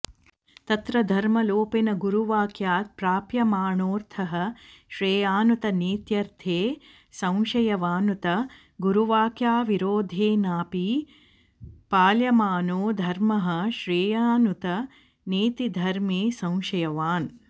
तत्र धर्मलोपेन गुरुवाक्यात् प्राप्यमाणोऽर्थः श्रेयानुत नेत्यर्थे संशयवानुत गुरुवाक्यविरोधेनापि पाल्यमानो धर्मः श्रेयानुत नेति धर्मे संशयवान्